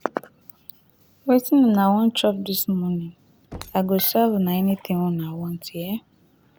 wetin una wan chop this morning i go serve una anytin wey una want u hear